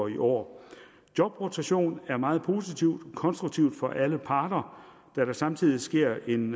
i år jobrotation er meget positivt og konstruktivt for alle parter da der samtidig sker en